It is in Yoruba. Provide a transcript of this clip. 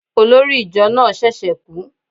Olórí ìjọ náà ṣẹ̀ṣẹ̀ kú